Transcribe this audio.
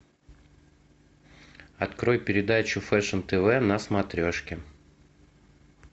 открой передачу фэшн тв на смотрешке